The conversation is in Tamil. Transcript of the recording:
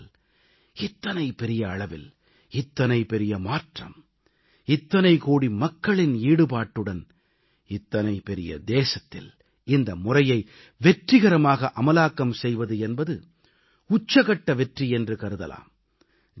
ஏனென்றால் இத்தனை பெரிய அளவில் இத்தனை பெரிய மாற்றம் இத்தனை கோடி மக்களின் ஈடுபாட்டுடன் இத்தனை பெரிய தேசத்தில் இந்த முறையை வெற்றிகரமாக அமலாக்கம் செய்வது என்பது உச்சகட்ட வெற்றி என்று கருதலாம்